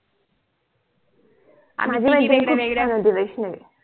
माझी मैत्रीण खूप छान होती वैष्णवी